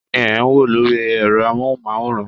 Kínní ẹ̀ n wo lori ẹrọ amohunmaworan?